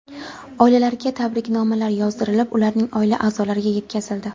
Oilalariga tabriknomalar yozdirilib, ularning oila a’zolariga yetkazildi.